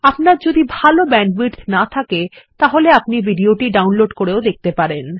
আপনার যদি ভাল ব্যান্ডউইডথ না থাকে আপনি এটি ডাউনলোড করেও দেখতে পারেন